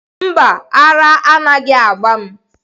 Mba, ara anaghị agba m.